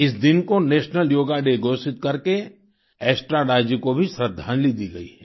इस दिन को नेशनल योगा डे घोषित करके एस्ट्राडा जी को भी श्रद्धांजलि दी गई है